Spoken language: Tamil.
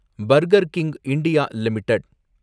burger King India limited